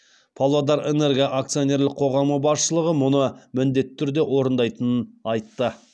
павлодарэнерго акционерлік қоғамы басшылығы мұны міндетті түрде орындайтынын айтты